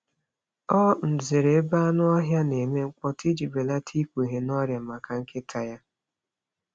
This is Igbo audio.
Ọ um zere ebe anụ ọhịa na-eme mkpọtụ iji belata ikpughe n’ọrịa maka nkịta ya.